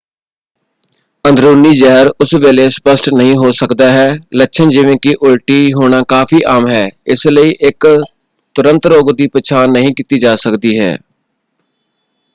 ਅੰਦਰੂਨੀ ਜ਼ਹਿਰ ਉਸੇ ਵੇਲੇ ਸਪਸ਼ਟ ਨਹੀਂ ਹੋ ਸਕਦਾ ਹੈ। ਲੱਛਣ ਜਿਵੇਂ ਕਿ ਉਲਟੀ ਹੋਣਾ ਕਾਫੀ ਆਮ ਹੈ ਇਸ ਲਈ ਇਕ ਤੁਰੰਤ ਰੋਗ ਦੀ ਪਛਾਣ ਨਹੀਂ ਕੀਤੀ ਜਾ ਸਕਦੀ ਹੈ।